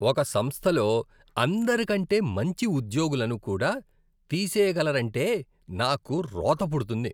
ఒక సంస్థలో అందరికంటే మంచి ఉద్యోగులను కూడా తీసేయగలరంటే నాకు రోత పుడుతుంది.